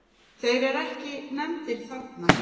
Þeir eru ekki nefndir þarna.